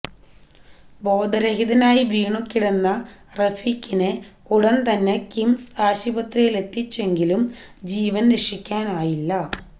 ബോധരഹിതനായി വീണു കിടന്ന റഫീഖിനെ ഉടന് തന്നെ കിംസ് ആശുപത്രിയിലെത്തിച്ചെങ്കിലും ജീവന് രക്ഷിക്കാനായില്ല